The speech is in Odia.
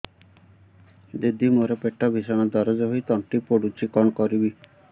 ଦିଦି ମୋର ପେଟ ଭୀଷଣ ଦରଜ ହୋଇ ତଣ୍ଟି ପୋଡୁଛି କଣ କରିବି